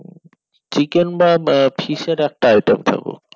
chicken বা fish এর একটা item থাকুক